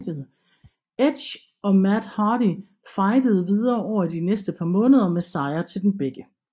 Edge og Matt Hardy fejdede videre over de næste par måneder med sejre til dem begge